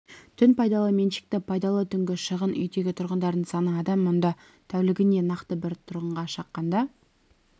түн пайдалы меншікті пайдалы түнгі шығын үйдегі тұрғындардың саны адам мұнда тәулігіне нақты бір тұрғынға шаққанда